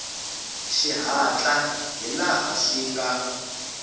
xihatla hi laha swi nga